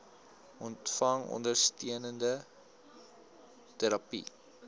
ontvang ondersteunende terapie